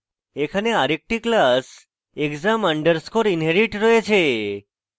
এখানে আরেকটি class exam underscore inherit রয়েছে